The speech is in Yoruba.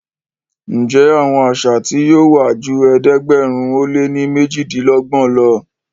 Njé Àwọn àṣà tí yóò wá jù ẹ̀ẹ́dẹ̀gbẹ̀rin o lẹ ní mejidinlogbon ló?